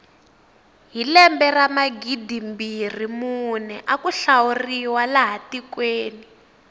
hi lembe ra magidimbirhi mune aku hlawuriwa laha tikweni